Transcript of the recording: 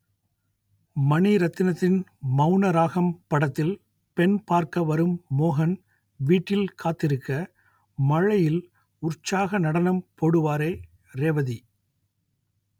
மணிரத்னத்தின் மௌனராகம் படத்தில் பெண் பார்க்க வரும் மோகன் வீட்டில் காத்திருக்க மழையில் உற்சாக நடனம் போடுவாரே ரேவதி